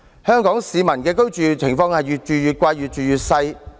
香港市民的居住情況是越住越貴，越住越細。